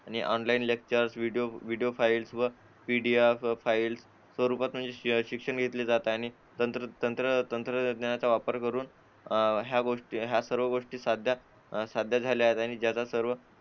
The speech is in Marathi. आणि ऑनलाइन लेक्चर व्हिडिओ फाईल्स व पीडीएफ फाईल स्वरूपात म्हणजे शिक्षण घेतले जात आहे तंत्र तंत्र तंत्रज्ञानाचा वापर करून या गोष्टी या सर्व गोष्टी साधता साध्य झाल्या आहेत आणि जगात सर्व